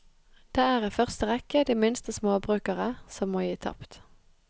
Det er i første rekke de minste småbrukere som må gi tapt.